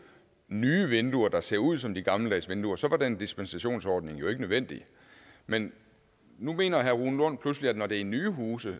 nye vinduer der ser ud som de gammeldags vinduer så var den dispensationsordning jo ikke nødvendig men nu mener herre rune lund pludselig at når det er nye huse